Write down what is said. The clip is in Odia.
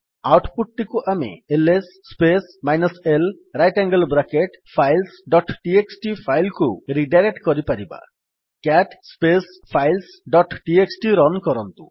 ଆଉଟ୍ ପୁଟ୍ ଟିକୁ ଆମେ LS space minus l right angle bracket files dot TXT file କୁ ରିଡାଇରେକ୍ଟ୍ କରିପାରିବା CAT space files dot TXT run କରନ୍ତୁ